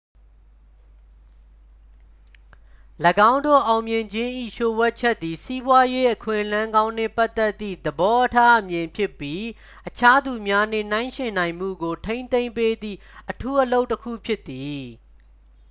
၎င်းတို့ အောင်မြင်ခြင်း၏ လျို့ဝှက်ချက်သည် စီးပွားရေးအခွင့်အလမ်းကောင်းနှင့်ပတ်သက်သည့် သဘောအထားအမြင်ဖြစ်ပြီး အခြားသူများနှင့်ယှဉ်ပြိုင်နိုင်မှုကို ထိန်းသိမ်းပေးသည့် အထူးအလုပ်တစ်ခုဖြစ်သည်